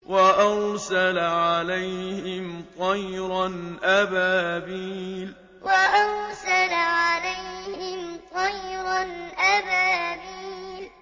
وَأَرْسَلَ عَلَيْهِمْ طَيْرًا أَبَابِيلَ وَأَرْسَلَ عَلَيْهِمْ طَيْرًا أَبَابِيلَ